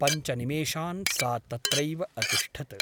पञ्च निमेषान् सा तत्रैव अतिष्ठत् ।